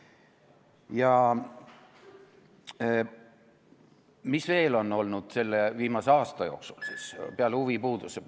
Ja mis veel on olnud selle viimase aasta jooksul, peale huvipuuduse?